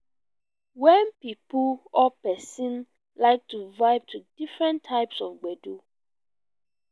wen pipo or person like to vibe to different types of gbedu